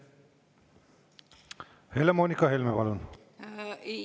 Helle-Moonika Helme, palun!